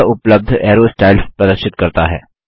यह उपलब्ध arrow styles प्रदर्शित करता है